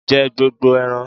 Jẹ gbogbo eran!